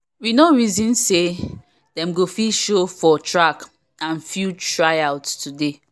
we no reason say dem go fit show for track and field tryouts today